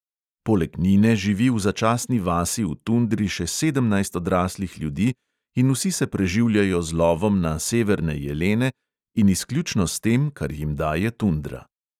Poleg nine živi v začasni vasi v tundri še sedemnajst odraslih ljudi in vsi se preživljajo z lovom na severne jelene in izključno s tem, kar jim daje tundra.